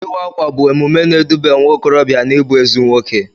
Ịwa ákwà bụ emume na-edube nwaokorobịa n'ịbụ ezi nwoke.